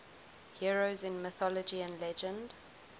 heroes in mythology and legend